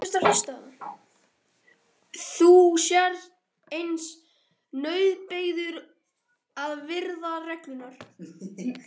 Þú sért aðeins nauðbeygður að virða reglurnar.